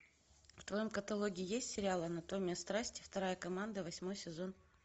в твоем каталоге есть сериал анатомия страсти вторая команда восьмой сезон